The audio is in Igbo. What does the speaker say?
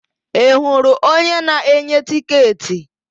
Ị hụrụ onye na-enye tịketị?